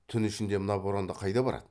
түн ішінде мына боранда қайда барады